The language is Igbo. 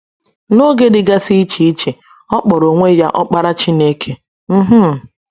N’oge dịgasị iche iche, ọ kpọrọ onwe ya “ Ọkpara Chineke. ” um